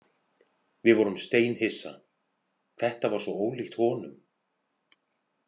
Við vorum steinhissa, þetta var svo ólíkt honum.